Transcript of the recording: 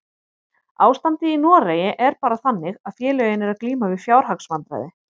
Ástandið í Noregi er bara þannig að félögin eru að glíma við fjárhagsvandræði.